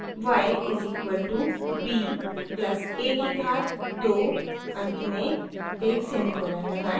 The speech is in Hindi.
y is equal to b plus a की घात 2 अंत में एक सेमीकोलन लगाएं